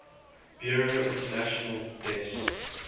bureau international des